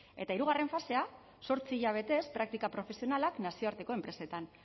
eta hirugarren fasea zortzi hilabetez praktika profesionalak nazioarteko enpresetan